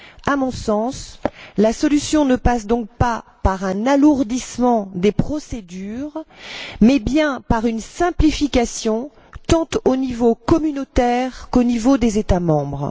À mon sens, la solution ne passe donc pas par un alourdissement des procédures, mais bien par une simplification, tant au niveau communautaire qu'au niveau des États membres.